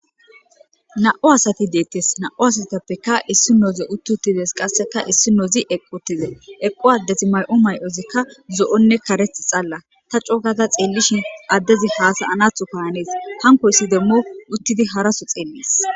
na7u asati deettes na7u asatappeka issi nooze utti uttides qasseka issi noozi eqqu uttide eqqu addezi may7o may7ozikka zo7onne karet xalla ta cookata xeellishin addezi haasa anatho kahanees hankoyssi demmo uttidi haraso xeeles